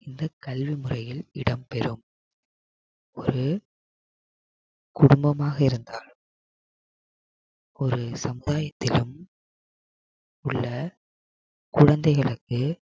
இந்த கல்வி முறையில் இடம் பெறும் ஒரு குடும்பமாக இருந்தால் ஒரு சமுதாயத்திலும் உள்ள குழந்தைகளுக்கு